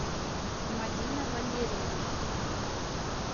мадина валерьевна